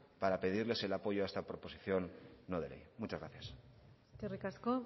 para pedirles el apoyo a esta proposición no de ley muchas gracias eskerrik asko